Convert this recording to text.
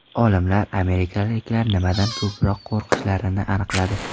Olimlar amerikaliklar nimadan ko‘proq qo‘rqishlarini aniqladi.